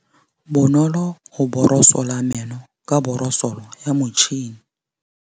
Bonolô o borosola meno ka borosolo ya motšhine.